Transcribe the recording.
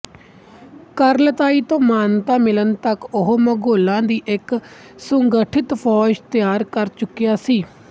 ਕੁਰਿਲਤਾਈ ਤੋਂ ਮਾਨਤਾ ਮਿਲਣ ਤੱਕ ਉਹ ਮੰਗੋਲਾਂ ਦੀ ਇੱਕ ਸੁਸੰਗਠਿਤ ਫੌਜ ਤਿਆਰ ਕਰ ਚੁੱਕਿਆ ਸੀ